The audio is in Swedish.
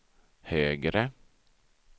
högre